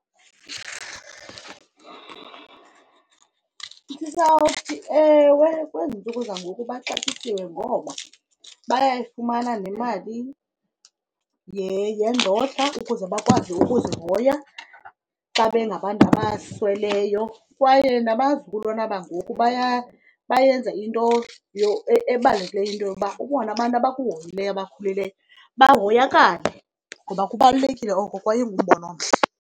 Ndizawuthi, ewe, kwezi ntsuku zangoku baxatyisiwe ngoba bayayifumana nemali yendodla ukuze bakwazi ukuzihoya xa bengabantu abasweleyo. Kwaye nabazukulwana bangoku bayenza into ebalulekileyo into yoba ubone abantu abakuhoyileyo, abakhulileyo bahoyakale. Ngoba kubalulekile oko kwaye ingumbono omhle.